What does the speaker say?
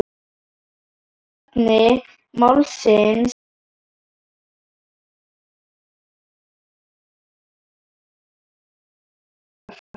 Kjarni málsins er, hér verður ekkert hálfkák framar.